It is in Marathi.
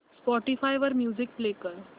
स्पॉटीफाय वर म्युझिक प्ले कर